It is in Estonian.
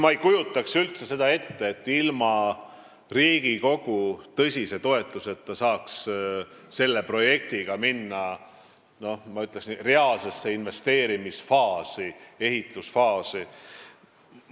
Ma ei kujuta üldse ette, et ilma Riigikogu tõsise toetuseta saaks selle projektiga minna, ma ütleksin, reaalsesse investeerimisfaasi, ehitusfaasi.